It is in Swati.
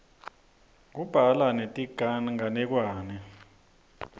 kubhalwa netinganekwane